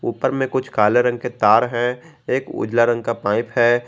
उपर में कुछ काले रंग के तार हैं एक उजला रंग का पाइप है।